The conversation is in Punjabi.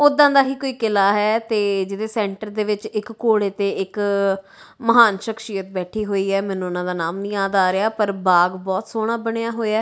ਉਦਾਂ ਦਾ ਹੀ ਕੋਈ ਕਿਲਾ ਹੈ ਤੇ ਜਿਹਦੇ ਸੈਂਟਰ ਦੇ ਵਿੱਚ ਇੱਕ ਘੋੜੇ ਤੇ ਇੱਕ ਮਹਾਨ ਸ਼ਖਸੀਅਤ ਬੈਠੀ ਹੋਈ ਹੈ ਮੈਨੂੰ ਉਹਨਾਂ ਦਾ ਨਾਮ ਨਹੀਂ ਯਾਦ ਆ ਰਿਹਾ ਪਰ ਬਾਗ ਬਹੁਤ ਸੋਹਣਾ ਬਣਿਆ ਹੋਇਆ।